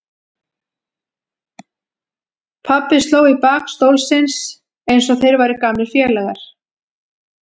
Pabbi sló í bak stólsins eins og þeir væru gamlir félagar.